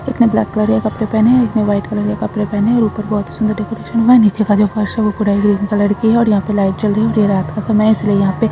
एक ने black colour के कपड़े पहने हुए है एक ने व्हाइट कलर के कपड़े पहने है ऊपर बहुत सुंदर डेकोरेशन हुआ है नीचे का जो फर्श है वो पूरा ग्रीन कलर की है और यहाँ पे लाइट जल रही है ये रात का समय इसलिए यहा पे --